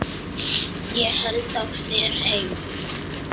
Ég held á þér heim.